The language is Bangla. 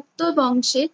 গুপ্ত বংশের